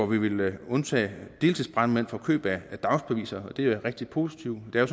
vi vil undtage deltidsbrandmænd fra køb af dagsbeviser og det er jo rigtig positivt det